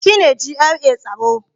Shi ne GRA tsaro